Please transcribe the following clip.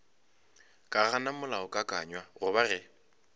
ka gana molaokakanywa goba ge